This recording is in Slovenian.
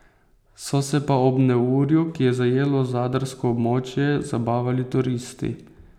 So se pa ob neurju, ki je zajelo zadarsko območje, zabavali turisti.